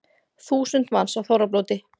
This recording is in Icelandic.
Þúsund manns á þorrablóti